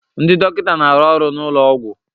Ndị dọkịta na-arụ ọrụ n'ụlọ ọgwụ.